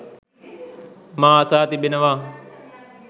මා අසා තිබෙනවා